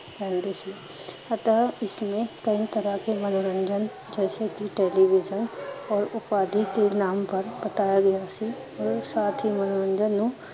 ਪੈਂਦੇ ਸੀ ਤਾਂ ਇਸਨੂੰ ਕਈ ਤਰਾਂ ਕੇ ਮਨੋਰੰਜਨ ਜੇਸੇ ਟੇਲਵੀਜੀਨ ਅਪ ਆਦਿ ਕੇ ਨਾਮ ਪਰ ਬਤੇਆ ਗਿਆ ਸੀ ਤੇ ਸਾਥ ਹੀਂ ਮਨੋਰੰਜਨ ਨੂੰ